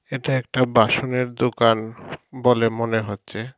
এটা একটা বাসনের দোকান বলে মনে হচ্ছে।